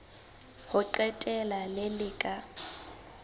ho qetela le le ka